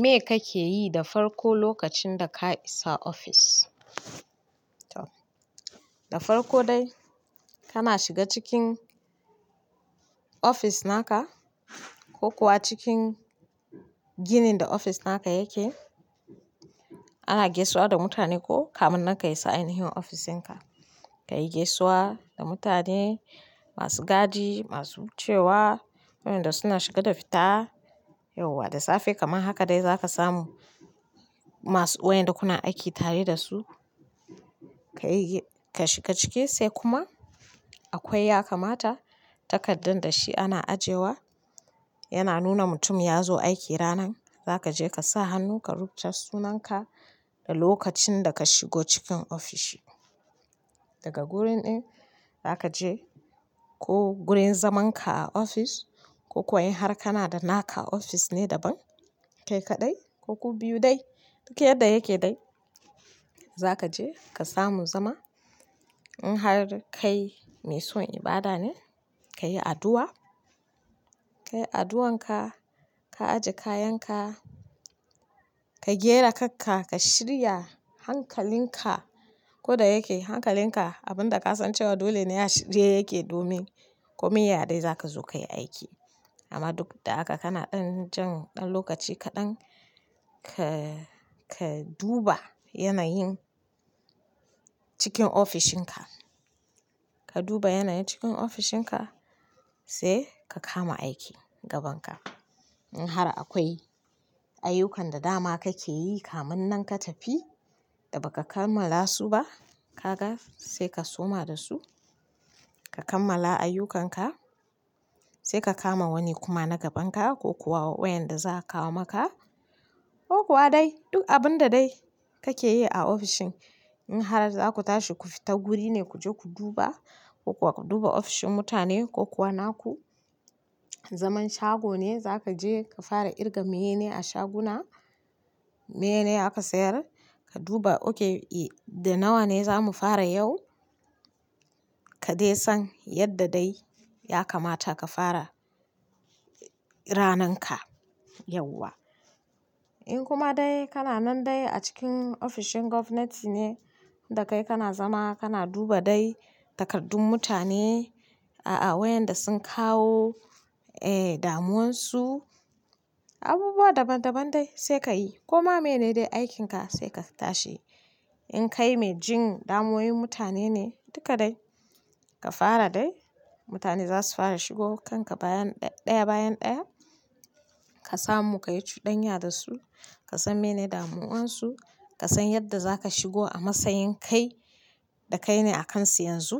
Me kake yi da farko lokacin da ka isa ofis? Dafar ko dai kana shiga cikin office naka kokuwa cikin ginin da office naka yake. Ana gaisuwa da mutane ko kamun nan ka yi sanin ina hin ofisinka, ka yi gaisuwa da mutane, masu gadi, masu cewa, wayanda suna shiga da fita. Yauwa da safe kaman haka dai za ka samu masu wayanda kuna aiki tare da su. Kashiga ciki se kuma akwai yakamata takaddan da shi ana ajiyewa yana nuna mutum yazo aiki ranan. Za ka je ka sa hannu, ka rubuta sunanka da lokacin da ka shigo cikin ofishi. Daga gurin ɗin za ka je ko gurin zamanka a ofis ko kuwa in har kana da naka ofis ne daban, kai kaɗai ko ku biyu dai, duk yadda yake dai za ka je ka samu zama. In har kai mai son ibada ne, ka yi addu'a, ka yi addu'anka, ka ajiye kayanka, ka gyara kakka, ka shirya hankalinka, ko da yake hankalinka, abun da ka san cewa dole ne a shirye yake domin komai ya dai za ka zo ka yi aiki. Amma duk da haka kana ɗan jan ɗan lokaci kaɗan ka, ka duba yanayin cikin ofishinka. Ka duba yanayin cikin ofishinka sai ka kama aiki gaban ka. In har akwai ayyukan da dama kake yi kamun nan ka tafi da ba ka kammala su ba, ka ga sai ka soma da su, ka kammala ayyukanka sai ka kama wani kuma na gaban ka ko kuwa wayanda za a kawo maka ko kuwa dai duk abun da dai kake yi a ofishin. In har za ku tashi ku fita guri ne ku je ku duba ko kuwa ku duba ofishin mutane ko kuwa naku, zaman shago ne za ka je ka fara kirga manene a shaguna, maye ne aka sayar, ka duba, "Okay, eh, da nawa ne za mu fara yau?" ka dai san yedda dai yakamata ka fara ranarka. In kuma dai kana nan dai a cikin ofishin gwamnati ne da kai kana zama, kana duba dai takardun mutane, a, a, wayanda sun kawo, eh, damuwarsu, abubuwa daban-daban dai sai ka yi. Koma maye ne dai aikinka sai ka tashi. In kai mai jin damuwan mutane ne, duka dai ka fara dai, mutane za su fara shigo kanka bayan ɗaya bayan ɗaya. Ka samu ka yi cuɗanya da su, ka san mene damuwarsu, ka san yadda za ka shigo a matsayin kai da kai ne a kansu yanzu.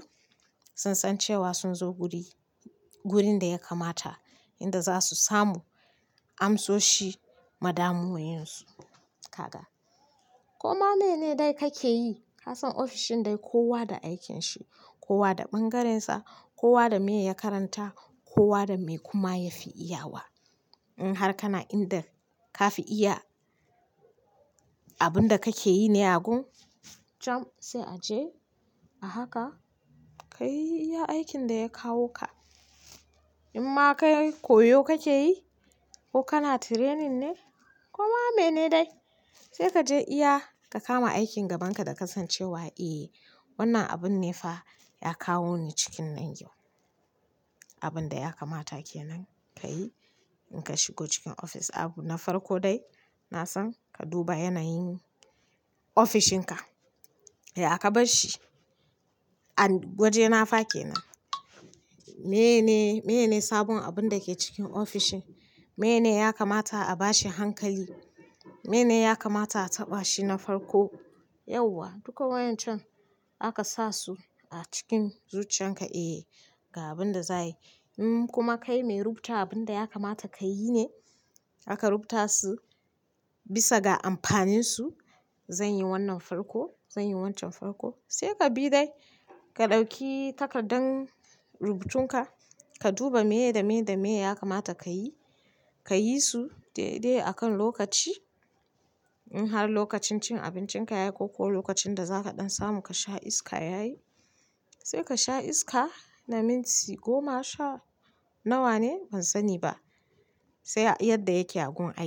Sun san cewa sun zo guri, wurin da ya kamata inda za su samu amsoshi ma damuwwayensu. Ka ga? Koma mene dai kake yi, ka san ofishin dai kowa da aikinsa, kowa da ɓangarensa, kowa da me ya karanta, kowa da me kuma ya fi iyawa. In har kana inda ka fi iya abun da kake yi ne ya gun, cham! Sai a je a haka ka yi aikin da ya kawo ka. Inma kai koyo kakeyi ko kana training ne koma mene dai se kaje iya ka kama aikin gabanka da kasan cewa ehh wannan abunnefa ya kawoni. Abun da ya kamata ke nan ka yi in ka shigo cikin ofis. Abu na farko dai na san ka duba yanayin ofishinka. Ya kabasshi? An, waje na fa ke nan? Meyne, meyne sabon abun da ke cikin ofishin? Meyne ya kamata a bashi hankali? Meyne ya kamata a taɓa shi na farko? Yauwa, duka wayancan aka sa su a cikin zuciyarka, eh, ga abin da za a yi. In kuma kai mai rubuta abun da ya kamata ka yi ne, aka rubuta su bisa ga amfaninsu, "Zan yi wannan farko, zan yi wancan farko," sai ka bi dai. Ka ɗauki takardar rubutun ka, ka duba maye da maye da maye ya kamata ka yi, ka yi su daidai a kan lokaci. In har lokacin cin abincinka ya yi ko kuwa lokacin da za ka ɗan samu ka sha iska ya yi, sai ka sha iska na minti goma sha nawa ne ban sani ba, sai a yadda yake a gun aiki.